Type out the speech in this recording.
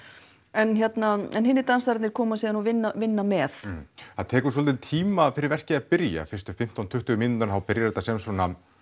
enn hinir dansararnir koma síðan og vinna vinna með það tekur svolítinn tíma fyrir verkið að byrja fyrstu fimmtán tuttugu mínúturnar þá byrjar þetta sem svo